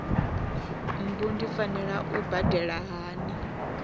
mbu ndi fanela u badela hani